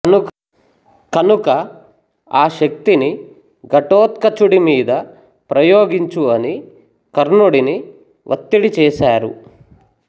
కనుక ఆ శక్తిని ఘటోత్కచుడి మీద ప్రయోగించు అని కర్ణుడిని వత్తిడి చేసారు